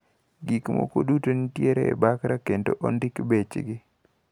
Gikmoko duto nitiere e bakra kendo ondik bechgi.